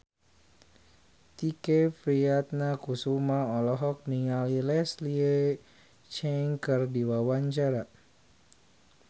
Tike Priatnakusuma olohok ningali Leslie Cheung keur diwawancara